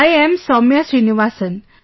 I am Soumya Srinivasan